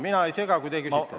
Mina ei sega, kui te küsite ...